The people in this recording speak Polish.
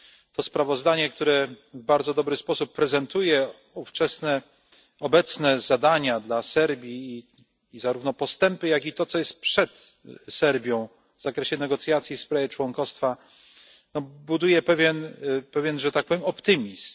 To sprawozdanie, które w bardzo dobry sposób prezentuje ówczesne i obecne zadania dla Serbii, zarówno postępy, jak i to, co jest przed Serbią w zakresie negocjacji w sprawie członkostwa, buduje pewien że tak powiem optymizm.